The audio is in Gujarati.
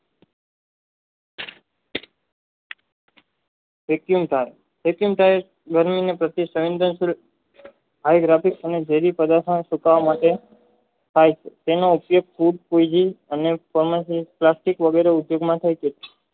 વેક્યુમ કાળ દરમિયાન અવગરક વધુ પદાર્થના માટે થાય છે તેને વગેરે ઉદ્યોગમાં થાય છે